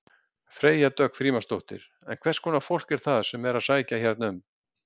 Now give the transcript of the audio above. Freyja Dögg Frímannsdóttir: En hverskonar fólk er það sem er að sækja hérna um?